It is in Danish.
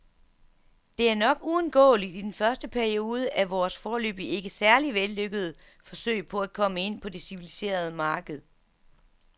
Det er nok uundgåeligt i den første periode af vores, foreløbig ikke særlig vellykkede, forsøg på at komme ind på det civiliserede marked.